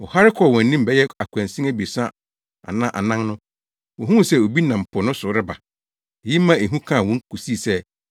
Wɔhare kɔɔ wɔn anim bɛyɛ akwansin abiɛsa anaa anan no, wohuu sɛ obi nam po no so reba; eyi maa ehu kaa wɔn kosii sɛ,